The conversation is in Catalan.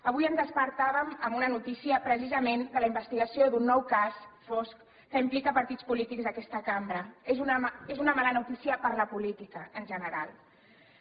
avui ens despertàvem amb una notícia precisament de la investigació d’un nou cas fosc que implica partits polítics d’aquesta cambra és una mala notícia per a la política en general